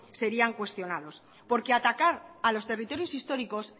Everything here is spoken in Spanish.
serían cuestionados porque atacar a los territorios históricos